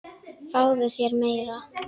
Fáðu þér meira!